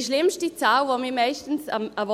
Die schlimmste Zahl, die